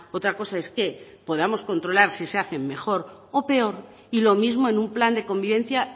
otra cosa es que podamos contralar si se hacen mejor o peor y lo mismo en un plan de convivencia